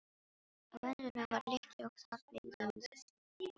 Á endanum var lykkja og þar beygðum við önglana.